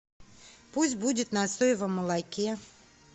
пусть будет на соевом молоке